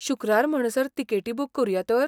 शुक्रार म्हणसर तिकेटी बूक करुया तर?